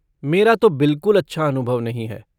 मेरा तो बिलकुल अच्छा अनुभव नहीं है।